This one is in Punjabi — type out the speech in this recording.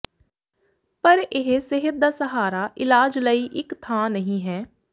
ਪਰ ਇਹ ਸਿਹਤ ਦਾ ਸਹਾਰਾ ਇਲਾਜ ਲਈ ਇਕ ਥਾਂ ਨਹੀਂ ਹੈ